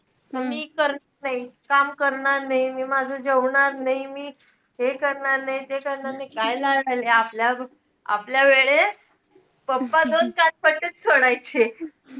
मी करते काम करणार नाही, मी माझं जेवणार नाही. मी हे करणार नाही, ते करणार नाही. काय लाड आलेय? आपल्या~ आपल्या वेळेस pappa दोन-चार पट्टेच सोडायचे.